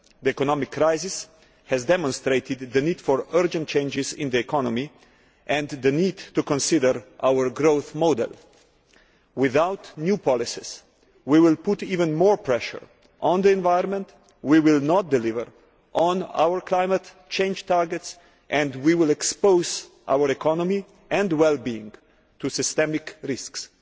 The economic crisis has demonstrated the need for urgent changes in the economy and the need to consider our growth model. Without new policies we will put even more pressure on the environment, we will not deliver on our climate change targets, and we will expose our economy and well being to systemic risks.